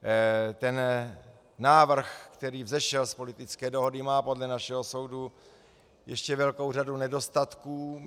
Ten návrh, který vzešel z politické dohody, má podle našeho soudu ještě velkou řadu nedostatků.